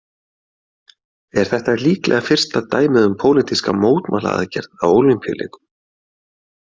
Er þetta líklega fyrsta dæmið um pólitíska mótmælaaðgerð á Ólympíuleikum.